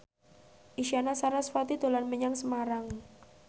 Isyana Sarasvati dolan menyang Semarang